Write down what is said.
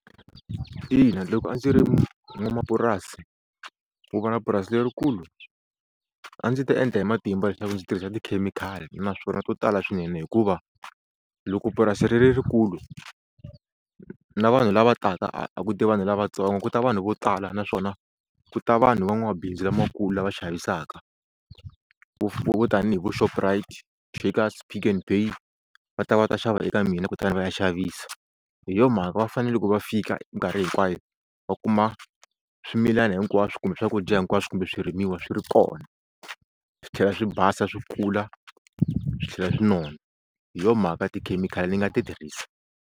Ina loko a ndzi ri n'wamapurasi ku va na purasi lerikulu a ndzi ta endla hi matimba leswaku ndzi tirhisa tikhemikhali naswona to tala swinene hikuva loko purasi ri ri rikulu na vanhu lava taka a a ku ti vanhu lavatsongo ku ta vanhu vo tala naswona ku ta vanhu van'wabindzu lamakulu lava xavisaka vo tanihi vo Shoprite, Checkers, Pick n Pay va ta va ta xava eka mina kutani va ya xavisa. Hi yo mhaka va fane loko va fika minkarhi hinkwayo va kuma swimilana hinkwaswo kumbe swakudya hinkwaswo kumbe swirimiwa swi ri kona swi tlhela swi basa swi kula swi tlhela swi nona hi yo mhaka tikhemikhali ni nga ti tirhisa.